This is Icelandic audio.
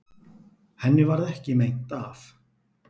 Henni varð ekki meint af.